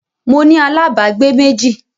Mo ní alábágbé méjì